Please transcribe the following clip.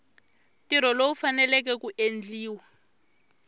ntirho lowu faneleke ku endliwa